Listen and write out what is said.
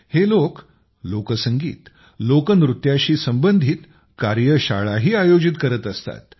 हे लोक लोकसंगीत लोकनृत्याशी संबंधित कार्यशाळाही आयोजित करत असतात